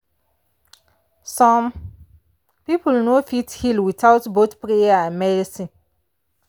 some people no fit heal without both prayer and medicine.